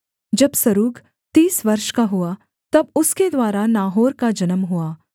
जब सरूग तीस वर्ष का हुआ तब उसके द्वारा नाहोर का जन्म हुआ